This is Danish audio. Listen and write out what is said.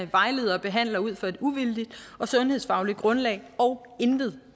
vejleder og behandler ud fra et uvildigt og sundhedsfagligt grundlag og intet